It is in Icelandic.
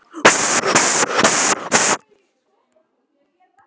Í þessum réttum voru fáir áhorfendur, en er hægt að fjölga þeim?